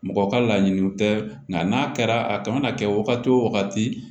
Mɔgɔ ka laɲiniw tɛ nka n'a kɛra a kan ka kɛ wagati wo wagati